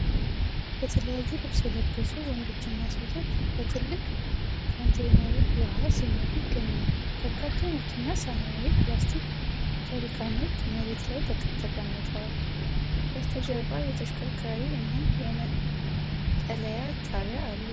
የተለያየ ልብስ የለበሱ ወንዶችና ሴቶች በትልቅ ካንቴይነሮች ውሃ ሲሞሉ ይገኛሉ። በርካታ ነጭና ሰማያዊ የፕላስቲክ ጀሪካኖች መሬት ላይ ተቀምጠዋል። በስተጀርባ የተሽከርካሪ እና የመጠለያ ጣቢያ አሉ።